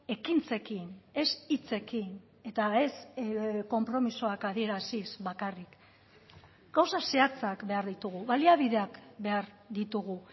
ekintzekin ez hitzekin eta ez konpromisoak adieraziz bakarrik gauza zehatzak behar ditugu baliabideak behar ditugu